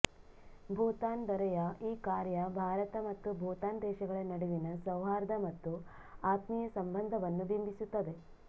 ಭೂತಾನ್ ದೊರೆಯ ಈ ಕಾರ್ಯ ಭಾರತ ಮತ್ತು ಭೂತಾನ್ ದೇಶಗಳ ನಡುವಿನ ಸೌಹಾರ್ದ ಮತ್ತು ಆತ್ಮೀಯ ಸಂಬಂಧವನ್ನು ಬಿಂಬಿಸುತ್ತದೆ